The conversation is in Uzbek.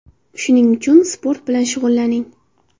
Shuning uchun sport bilan shug‘ullaning!